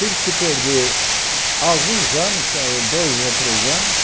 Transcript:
Tive que perder alguns anos, ah dois a três anos,